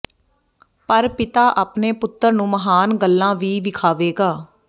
ਪਰ ਪਿਤਾ ਆਪਣੇ ਪੁੱਤਰ ਨੂੰ ਮਹਾਨ ਗੱਲਾਂ ਵੀ ਵਿਖਾਵੇਗਾ